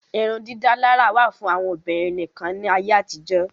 Irun dídálárà wà fún àwọn Obìnrin nìkan ní ayé àtijó